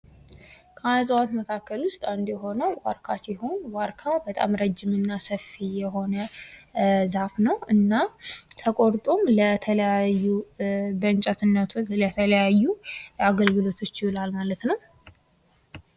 ከእጽዋት መካከል ውስጥ አንዱ የሆነው ዋርካ ሲሆን ዋርካ በጣም ረጅምና ሰፊ የሆነ ዛፍ ነው። እና ተቆርጦም በተለያዩ ለእንጨት ለተለያዩ አገልግሎቶች ይውላል ማለት ነው ።